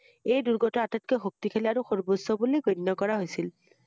এই দূৰ্গটো আটাইতকৈ শক্তিশালী আৰু সৰ্বোচ্চ বুলি গণ্য কৰা হৈছিল ৷